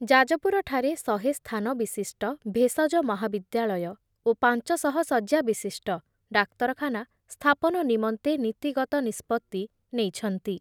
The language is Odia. ଯାଜପୁରଠାରେ ଶହେ ସ୍ଥାନ ବିଶିଷ୍ଟ ଭେଷଜ ମହାବିଦ୍ୟାଳୟ ପାଞ୍ଚଶହ ଶଯ୍ୟା ବିଶିଷ୍ଟ ଡାକ୍ତରଖାନା ସ୍ଥାପନ ନିମନ୍ତେ ନୀତିଗତ ନିଷ୍ପତ୍ତି ନେଇଛନ୍ତି ।